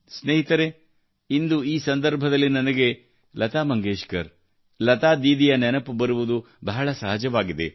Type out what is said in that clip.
ಸ್ನೇಹಿತರೇ ಇಂದು ಈ ಸಂದರ್ಭದಲ್ಲಿ ನನಗೆ ಲತಾ ಮಂಗೇಶ್ಕರ್ ಲತಾ ದೀದಿಯ ನೆನಪು ಬರುವುದು ಬಹಳ ಸಹಜವಾಗಿದೆ